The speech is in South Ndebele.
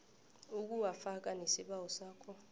ukuwafaka nesibawo sakho